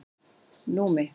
Númi